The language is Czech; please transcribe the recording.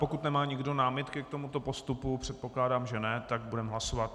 Pokud nemá nikdo námitky k tomuto postupu, předpokládám, že ne, tak budeme hlasovat.